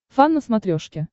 фан на смотрешке